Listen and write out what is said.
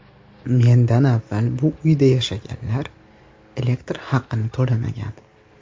Mendan avval bu uyda yashaganlar elektr haqini to‘lamagan.